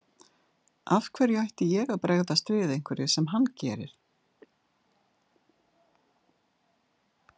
Af hverju ætti ég að bregðast við einhverju sem hann gerir.